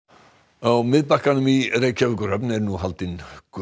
á Miðbakkanum í Reykjavíkurhöfn er nú haldin